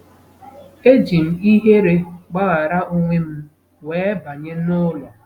Eji m ihere gbaghara onwe m wee banye n'ụlọ.